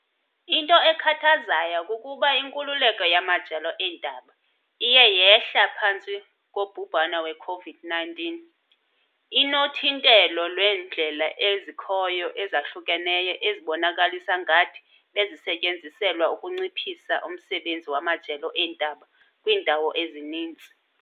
Into ekhathazayo kukuba inkululeko yamajelo eendaba iye yehla phantsi kobhubhane we-COVID-19, inothintelo lweendlela ezikhoyo ezahlukeneyo ezibonakalisa ngathi bezisetyenziselwa ukunciphisa umsebenzi wamajelo eentaba kwiindawo ezininzi.